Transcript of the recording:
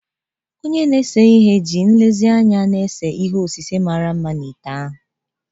Onye na-ese ihe ji nlezianya na-ese ihe osise mara mma na ite ahụ.